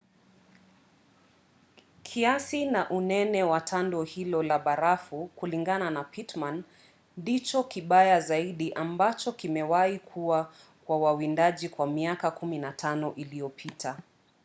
kiasi na unene wa tando hilo la barafu kulingana na pittman ndicho kibaya zaidi ambacho kimewahi kuwa kwa wawindaji kwa miaka 15 iliyopita